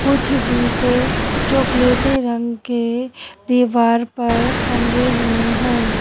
कुछ जूते चॉकलेटी रंग के दीवार पर टंगे हुए हैं।